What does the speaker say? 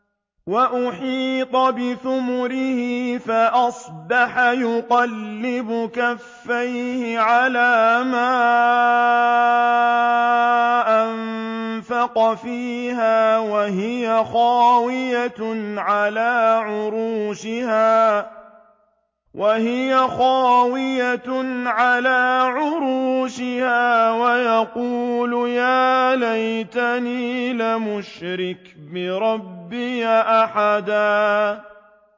وَأُحِيطَ بِثَمَرِهِ فَأَصْبَحَ يُقَلِّبُ كَفَّيْهِ عَلَىٰ مَا أَنفَقَ فِيهَا وَهِيَ خَاوِيَةٌ عَلَىٰ عُرُوشِهَا وَيَقُولُ يَا لَيْتَنِي لَمْ أُشْرِكْ بِرَبِّي أَحَدًا